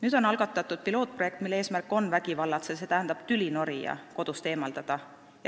Nüüd on algatatud pilootprojekt, mille eesmärk on vägivallatseja, st tülinorija kodust eemaldada.